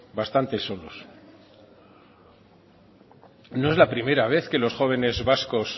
bastante solos no es la primera vez que los jóvenes vascos